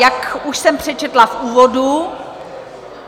Jak už jsem přečetla v úvodu...